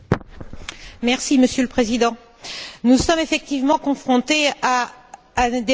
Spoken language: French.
Monsieur le Président, nous sommes effectivement confrontés à un débat surréaliste.